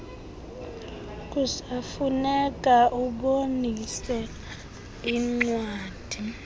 kusafuneka ubonise incwadi